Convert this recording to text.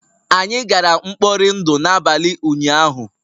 Anyị gara mkpọri ndụ n'abalị ụnyahụ